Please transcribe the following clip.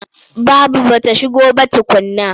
Babu ba ta shigo ba tukunna.